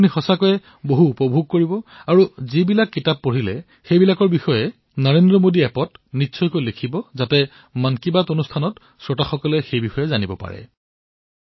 আপোনালোকে সঁচাকৈয়ে উপভোগ কৰিব পাৰিব আৰু যিয়েই কিতাপ পঢ়ক সেই বিষয়ে নৰেন্দ্ৰ মোদী এপত যাতে নিশ্চয়কৈ লিখে যাতে মন কী বাতৰ সকলো শ্ৰোতাই এই বিষয়ে গম পাব পাৰে